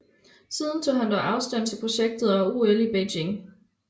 Siden tog han dog afstand til projektet og OL i Beijing